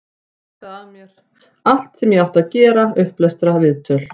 Ég harkaði af mér allt sem ég átti að gera, upplestra, viðtöl.